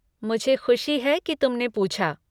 मुझे खुशी है कि तुमने पूछा।